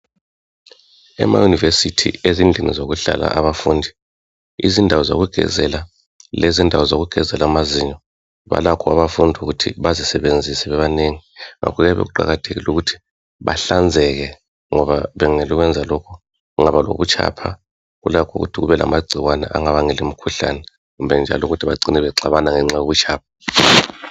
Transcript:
Ema university endaweni zokuhlala abafundi Yizindawo zokugezela lezindawo zokugezela amazinyo. Balakho abafundi ukuthi bazisebenzise bebanegi .Ngakho kuqakathekile ukuthi bahlanzeke ngoba bengekela ukwenza lokho kungaba lobutshapha kulakho ukuthi kube lamagciwane angabangela imikhuhlane, kumbe bacine bexabana ngenxa yobutshapha